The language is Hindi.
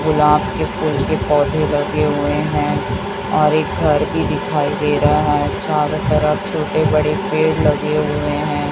गुलाब के फूल के पौधे लगे हुए हैं और एक घर भी दिखाई दे रहा है चारों तरफ छोटे बड़े पेड़ लगे हुए हैं।